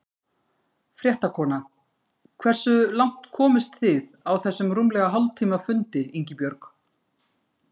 Fréttakona: Hversu langt komist þið á þessum rúmlega hálftíma fundi Ingibjörg?